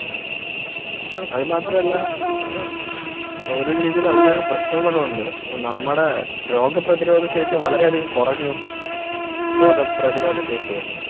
അതുമാത്രമല്ല ഒരു രീതിയിൽ അതിനൊരുപ്രശ്നം കൂടിയുണ്ട് നമ്മുടെ രോഗപ്രതിരോധശേഷി വളരെയധികം കുറഞ്ഞു രോഗപ്രതിരോധശേഷിയെ